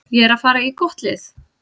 Ég er að fara í gott lið.